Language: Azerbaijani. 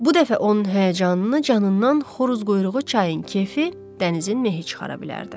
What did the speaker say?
Bu dəfə onun həyəcanını canından xoruz quyruğu çayın kefi dənizin mehi çıxara bilərdi.